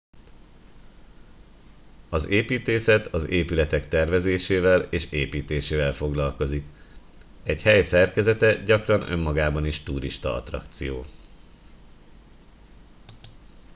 az építészet az épületek tervezésével és építésével foglalkozik egy hely szerkezete gyakran önmagában is turistaattrakció